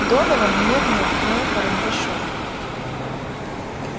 донован нервно ткнул карандашом